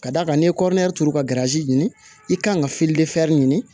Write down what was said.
Ka d'a kan n'i ye kɔrɔyɛrɛ turu ka garazi ɲini i kan ka ɲini